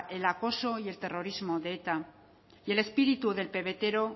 el acoso y el terrorismo de eta y el espíritu del pebetero